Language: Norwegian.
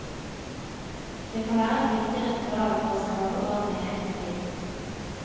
Det kan være et viktig ritual for å skape orden i eget liv.